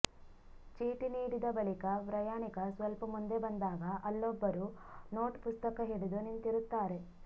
ಚೀಟಿ ನೀಡಿದ ಬಳಿಕ ಪ್ರಯಾಣಿಕ ಸ್ವಲ್ಪ ಮುಂದೆ ಬಂದಾಗ ಅಲ್ಲೊಬ್ಬರು ನೋಟ್ ಪುಸ್ತಕ ಹಿಡಿದು ನಿಂತಿರುತ್ತಾರೆ